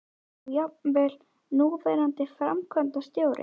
Og jafnvel núverandi framkvæmdastjóri?